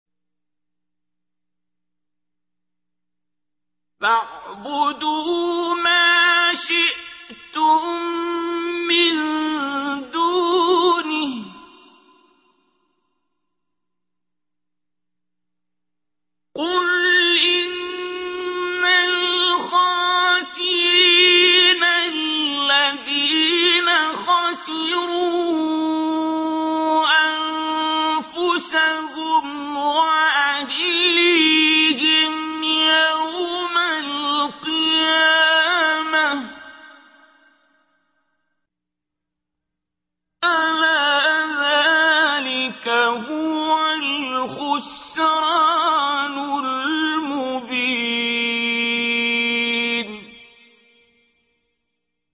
فَاعْبُدُوا مَا شِئْتُم مِّن دُونِهِ ۗ قُلْ إِنَّ الْخَاسِرِينَ الَّذِينَ خَسِرُوا أَنفُسَهُمْ وَأَهْلِيهِمْ يَوْمَ الْقِيَامَةِ ۗ أَلَا ذَٰلِكَ هُوَ الْخُسْرَانُ الْمُبِينُ